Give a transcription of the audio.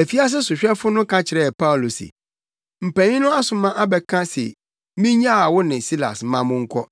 Afiase sohwɛfo no ka kyerɛɛ Paulo se, “Mpanyin no asoma abɛka se minnyaa wo ne Silas ma monkɔ.